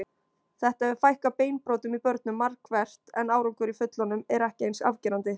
Þetta hefur fækkað beinbrotum í börnum markvert en árangur í fullorðnum er ekki eins afgerandi.